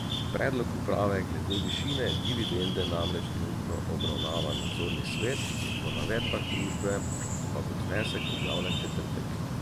Predlog uprave glede višine dividende namreč trenutno obravnava nadzorni svet, po navedbah družbe pa bo znesek objavljen v četrtek.